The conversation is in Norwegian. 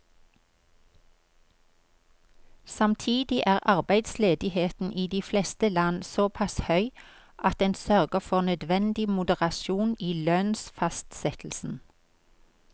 Samtidig er arbeidsledigheten i de fleste land såpass høy at den sørger for nødvendig moderasjon i lønnsfastsettelsen.